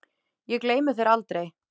Ég gleymi þér aldrei.